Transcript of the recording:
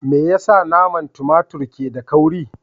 Me yasa manan tumatur ke da kauri?